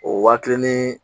O wa kelen ni